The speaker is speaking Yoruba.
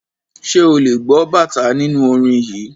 Ṣé ò lè gbọ́ bàtá nínú orin yìí.